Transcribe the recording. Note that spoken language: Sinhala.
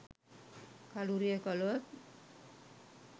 කළුරිය කළොත්